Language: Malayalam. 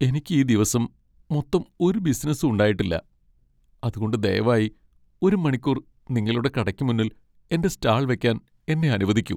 എനിക്ക് ഈ ദിവസം മൊത്തം ഒരു ബിസിനസ്സും ഉണ്ടായിട്ടില്ല , അതുകൊണ്ട് ദയവായി ഒരു മണിക്കൂർ നിങ്ങളുടെ കടയ്ക്ക് മുന്നിൽ എന്റെ സ്റ്റാൾ വക്കാൻ എന്നെ അനുവദിക്കു.